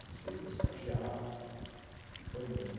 Comecei de estagiário e foi indo.